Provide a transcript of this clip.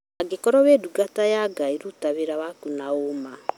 Angĩkorwo wĩ ndungata ya Ngai ruta wĩra waku na ũũma